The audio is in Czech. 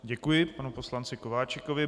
Děkuji panu poslanci Kováčikovi.